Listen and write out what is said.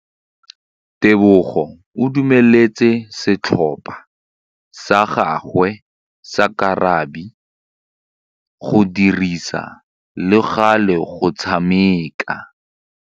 Tebogô o dumeletse setlhopha sa gagwe sa rakabi go dirisa le galê go tshameka.